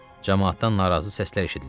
Camaatdan narazı səslər eşidildi.